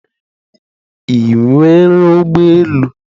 Ị nwere ụgbọ elu?